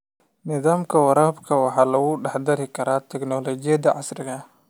Nidaamka waraabka waxaa lagu dhex dari karaa tignoolajiyada casriga ah.